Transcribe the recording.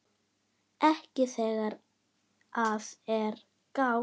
Ekki þegar að er gáð.